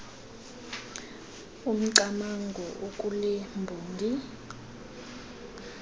umcamango okule mbongi